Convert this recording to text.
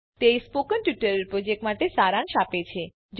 તે spoken tutorial project માટે સારાંશ આપે છે